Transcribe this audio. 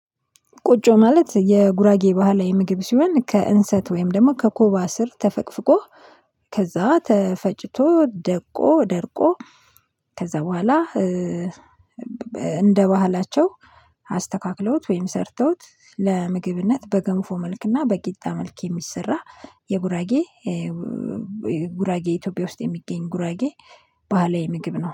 ቁጮ ማለት የጉራጌ ባህላዊ ምግብ ሲሆን ከእንሰት ወይም ደግሞ ከኮባ ስር ተፈቅፍቆ ከዛ ተፈጭቶ ደቆ ደርቆ ከዛ በኋላ እንደ ባህላቸው አስተካክለውት ወይም ሰርተውት ለምግብነት በገንፎ መልክና በቂጣ መልክ የሚሰራ የጉራጌ ጉራጌ ኢትዮጵያ ውስጥ የሚገኝ ጉራጌ ባህላዊ ምግብ ነው